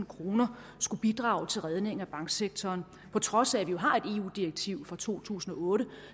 kroner skulle bidrage til redning af banksektoren på trods af at vi jo har et eu direktiv fra to tusind og otte